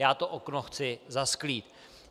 Já to okno chci zasklít.